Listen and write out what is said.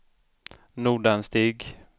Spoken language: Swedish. Nordanstig